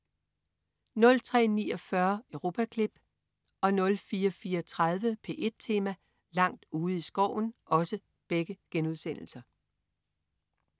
03.49 Europaklip* 04.34 P1 Tema: Langt ude i skoven*